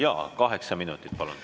Jaa, kaheksa minutit, palun.